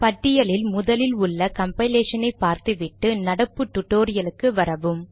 பட்டியலில் முதலில் உள்ள கம்பைலேஷன் ஐ பார்த்து விட்டு நடப்பு டுடோரியலுக்கு வரவும்